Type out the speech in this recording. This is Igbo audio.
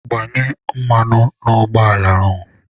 Gbanye mmanụ n'ụgbọ ala ahụ!